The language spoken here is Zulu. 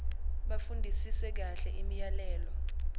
bafundisise kahle imiyalelo